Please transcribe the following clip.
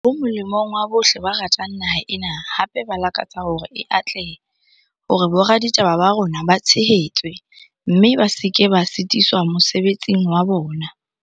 Ho molemong wa bohle ba ratang naha ena, hape ba lakatsa hore e atlehe, hore boraditaba ba rona ba tshehetswe, mme ba se ke ba sitiswa mosebetsing wa bona.